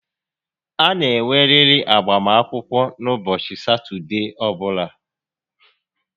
A na enweriri agbam akwụkwọ n'ụbọchị Satọdee ọbụla